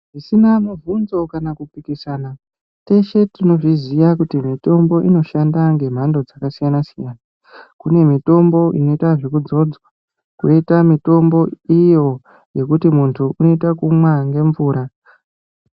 Zvisina mibvunzo kana kupikisana, teshe tinozviziya kuti mitombo inoshanda ngemhando dzakasiyana-siyana. Kune mitombo inoitwa zvekudzodzwa koita mitombo iyo yekuti muntu unoita kunwa ngemvura.